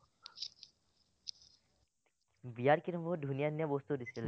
বিয়াত কিন্তু বহুত ধুনীয়া ধুনীয়া বস্তু দিছিলে দেই।